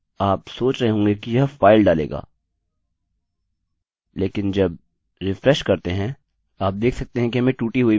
आप सोच रहे होंगे कि यह फाइल डालेगा लेकिन जब रिफ्रेश करते हैं आप देख सकते हैं कि हमें टूटी हुई इमेज मिली हैं